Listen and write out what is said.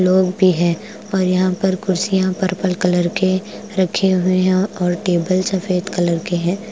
लोग भी है और यहां पर कुर्सियां पर्पल कलर के रखे हुए है और टेबल सफेद कलर के है।